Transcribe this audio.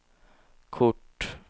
kort